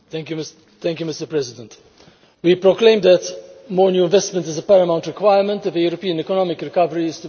Mr President, we proclaim that more new investment is a paramount requirement if European economic recovery is to be sustained.